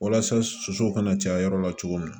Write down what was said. Walasa sosow kana caya yɔrɔ la cogo min na